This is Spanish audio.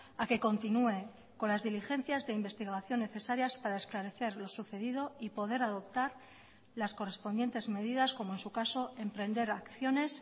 a que continúe con las diligencias de investigación necesarias para esclarecer lo sucedido y poder adoptar las correspondientes medidas como en su caso emprender acciones